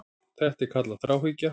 Þetta er kallað þráhyggja.